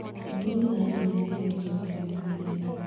Atongoria a ndini nĩ mahetwo gĩtĩo mũno nĩ andũ,